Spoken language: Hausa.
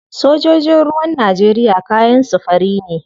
Sojojin ruwan Najeriya kayan su fari ne.